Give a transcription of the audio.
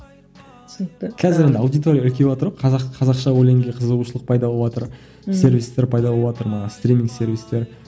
түсінікті қазір мына аудиторияға кеватыр ғой қазақ қазақша өлеңге қызығушылық пайда болыватыр сервистер пайда болыватыр мана стрим сервистер